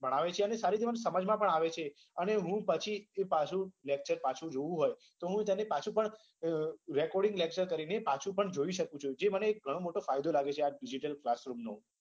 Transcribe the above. ભણાવે છે અને સમજવામાં પણ આવે છે અને હું પછી lecture જોવું હોય તો ત્યાંથી પાછુ પણ recoding lecture કરી પાછું પણ જોઈ શકું છું જે મને ઘણો મોટો ફાયદો લાગે છે આ digital room નો